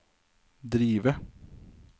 drive